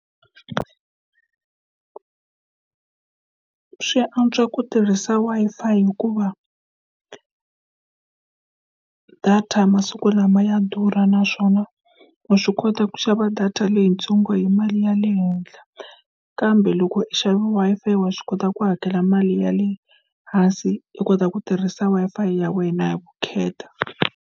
Swi antswa ku tirhisa Wi-Fi hikuva data masiku lama ya durha naswona wa swi kota ku xava data leyitsongo hi mali ya le henhla kambe loko u xave Wi-Fi wa swi kota ku hakela mali ya le hansi i kota ku tirhisa Wi-Fi ya wena hi vukheta.